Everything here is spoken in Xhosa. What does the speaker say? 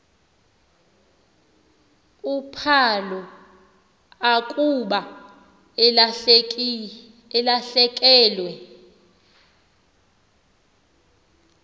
uphalo akuba elahlekelwe